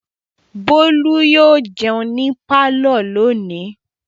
Bólú yóò jẹun ní pálọ̀ lónìí.